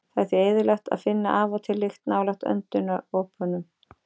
Það er því eðlilegt að finna af og til lykt nálægt öndunaropunum.